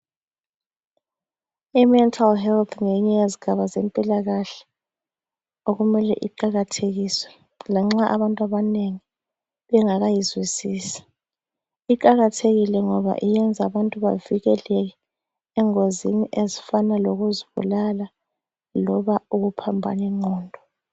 IMental Health ngeyinye yezigaba zempilakahle okumele iqakathekiswe lanxa abantu abanengi bengakayizwisisi. Iqakathekile ngoba iyenza abantu bavikeleke engozini ezifana lokuzibulala loba ukuphambana ingqondo.